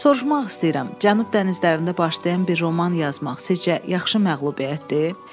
Soruşmaq istəyirəm, Cənub dənizlərində başlayan bir roman yazmaq sizcə yaxşı məğlubiyyətdir?